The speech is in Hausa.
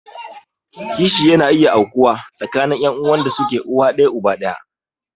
Kishi yana iya aukuwa tsakanin ƴan'uwan da suke uwan ɗaya uba ɗaya.